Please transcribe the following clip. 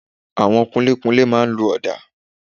Àwọn kunlékunlé máa n lo ọ̀dà